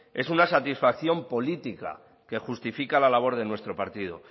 es una satisfacción política que justifica nuestra labor de nuestro partido